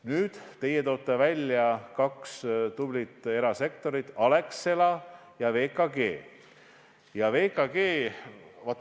Nüüd, teie toote välja kaks tublit erasektori ettevõtet Alexela ja VKG.